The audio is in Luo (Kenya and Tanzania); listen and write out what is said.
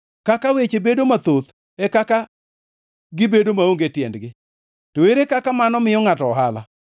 Kaka weche bedo mathoth, e kaka gibedo maonge tiendgi. To ere kaka mano miyo ngʼato ohala?